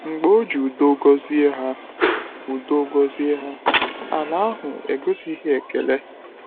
Mgbe o ji udo gọzie ha, udo gọzie ha, ala ahụ egosighị ekele.